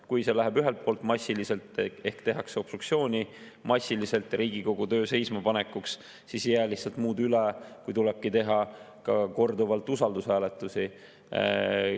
Kui see läheb ühelt poolt massiliseks ehk tehakse obstruktsiooni massiliselt Riigikogu töö seismapanekuks, siis ei jää lihtsalt muud üle, kui tulebki teha korduvalt usaldushääletusi.